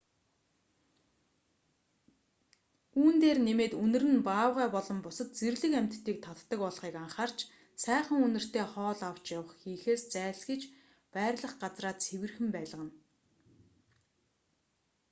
үүн дээр нэмээд үнэр нь баавгай болон бусад зэрлэг амьтдыг татдаг болохыг анхаарч сайхан үнэртэй хоол авч явах хийхээс зайлсхийж байрлах газраа цэвэрхэн байлгана